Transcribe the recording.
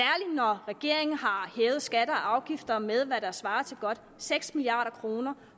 når regeringen har hævet skatter og afgifter med hvad der svarer til godt seks milliard kr